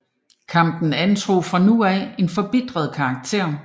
Kampen antog fra nu af en forbitret karakter